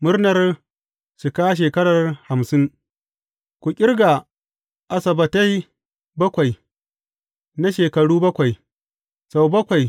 Murnar cika shekarar hamsin Ku ƙirga asabbatai bakwai na shekaru bakwai, sau bakwai.